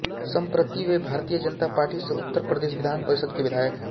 सम्प्रति वे भारतीय जनता पार्टी से उत्तर प्रदेश विधान परिषद के विधायक हैं